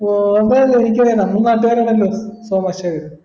ഓർമ അല്ലെ എനിക്കറിയണ നമ്മ നാട്ട്കാരാണല്ലോ സോമ ശേഖര